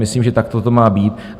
Myslím, že takto to má být.